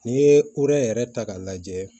N'i ye yɛrɛ ta k'a lajɛ